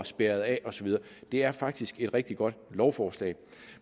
spærret af og så videre det er faktisk et rigtig godt lovforslag